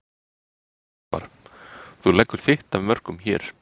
Ingimar: Þú leggur þitt af mörkum hér?